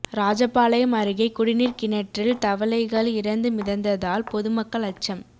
ராஜபாளையம் அருகே குடிநீா் கிணற்றில் தவளைகள் இறந்து மிதந்ததால் பொதுமக்கள் அச்சம்